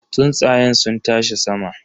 Tsuntsayen sun tashi sama.